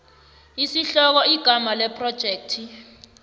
isihloko igama lephrojekthi